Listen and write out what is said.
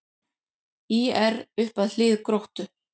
ÍR upp að hlið Gróttu